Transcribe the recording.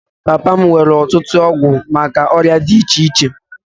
Papa m nwere ọtụtụ ọgwụ maka ọrịa dị iche iche